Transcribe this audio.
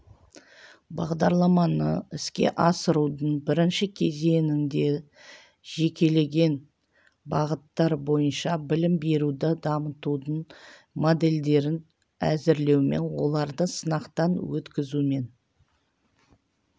бағдарламаны іске асырудың бірінші кезеңінде жекелеген бағыттар бойынша білім беруді дамытудың модельдерін әзірлеумен оларды сынақтан өткізумен